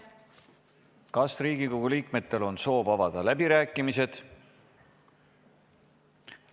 Kas Riigikogu liikmetel on soov avada läbirääkimised?